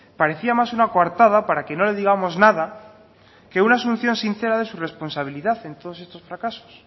parecía más una cuartada para que no le digamos nada que una solución sincera de su responsabilidad en todos estos fracasos